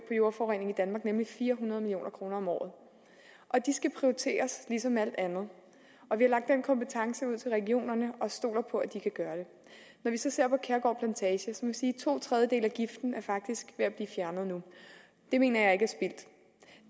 jordforurening i danmark nemlig fire hundrede million kroner om året de skal prioriteres ligesom alt andet og vi har lagt den kompetence ud til regionerne og stoler på at de kan gøre det når vi så ser på kærgård plantage vil jeg sige at to tredjedele af giften faktisk er at blive fjernet nu det mener